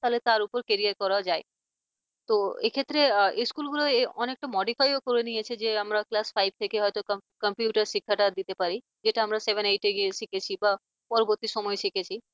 তাহলে তার উপর career র করাও যায় তো এক্ষেত্রে স্কুলগুলো অনেকটা modify ও করে নিয়েছে যে আমরা class five থেকেই হয়তো computer computer শিক্ষাটা দিতে পারি যেটা আমরা seven eight গিয়ে শিখেছি বা পরবর্তী সময় শিখেছি